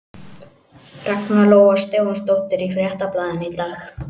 Ragna Lóa Stefánsdóttir í Fréttablaðinu í dag.